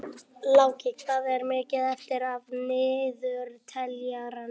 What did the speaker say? Láki, hvað er mikið eftir af niðurteljaranum?